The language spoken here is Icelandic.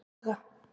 Haga